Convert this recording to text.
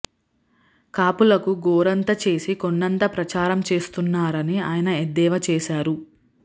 కాపులకు గోరంత చేసి కొండంత ప్రచారం చేస్తున్నారని ఆయన ఎద్దేవా చేశారు